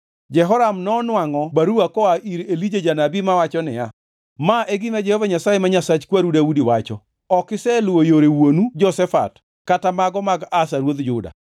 Jehoram nonwangʼo baruwa koa ir Elija janabi mawacho niya, “Ma e gima Jehova Nyasaye ma Nyasach kwaru Daudi wacho, ‘Ok iseluwo yore wuonu Jehoshafat kata mago mag Asa ruodh Juda.